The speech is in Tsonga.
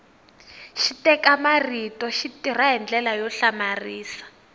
xiteka marito xi tirha hi ndlela yo hlamarisa